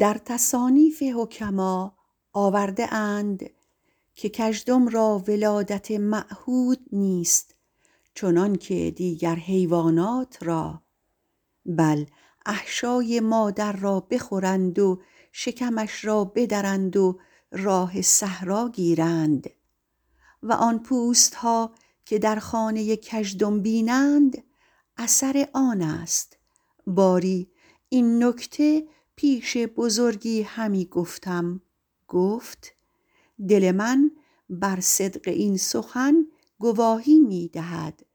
در تصانیف حکما آورده اند که کژدم را ولادت معهود نیست چنانکه دیگر حیوانات را بل احشای مادر را بخورند و شکمش را بدرند و راه صحرا گیرند و آن پوست ها که در خانه کژدم بینند اثر آن است باری این نکته پیش بزرگی همی گفتم گفت دل من بر صدق این سخن گواهی می دهد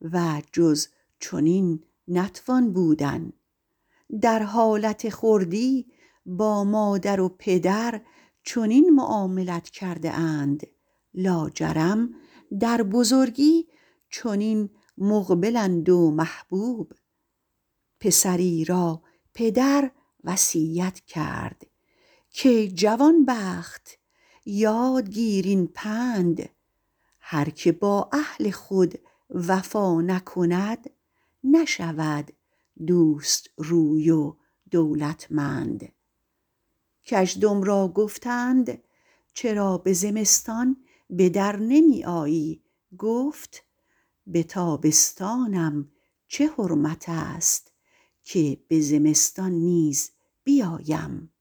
و جز چنین نتوان بودن در حالت خردی با مادر و پدر چنین معاملت کرده اند لاجرم در بزرگی چنین مقبلند و محبوب پسری را پدر وصیت کرد کای جوانبخت یاد گیر این پند هر که با اهل خود وفا نکند نشود دوست روی و دولتمند کژدم را گفتند چرا به زمستان به در نمی آیی گفت به تابستانم چه حرمت است که به زمستان نیز بیایم